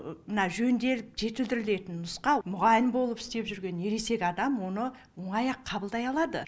мына жөнделіп жетілдірілетін нұсқа мұғалім болып істеп жүрген ересек адам оны оңай ақ қабылдай алады